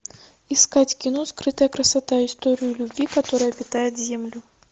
искать кино скрытая красота история любви которая питает землю